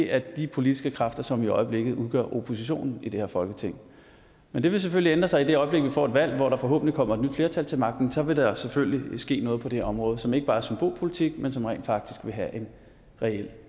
er de politiske kræfter som i øjeblikket udgør oppositionen i det her folketing men det vil selvfølgelig ændre sig i det øjeblik vi får et valg hvor der forhåbentlig kommer et nyt flertal til magten så vil der selvfølgelig ske noget på det område som ikke bare er symbolpolitik men som rent faktisk vil have en reel